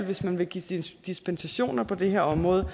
hvis man vil give dispensationer på det her område